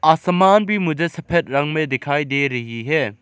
आसमान भी मुझे सफेद रंग में दिखाई दे रही है।